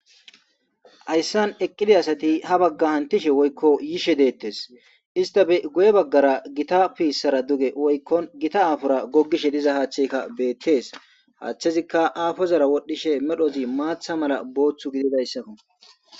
Haysan eqida asati ha bagan hantishe woyko yishe dettes isstape guye bagara gitta pissaya duge woyko appor gogishe diza haththayka hathazikaapora wodhdhishi medhozi maththa mala Botha gididaysako